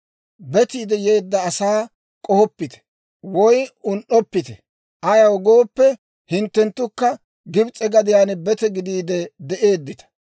Betiide yeedda asaa k'ohoppite woy un"oppite; ayaw gooppe, hinttenttukka Gibs'e gadiyaan bete gidiide de'eeddita.